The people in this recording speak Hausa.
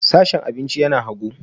Sashen abinci yana hagu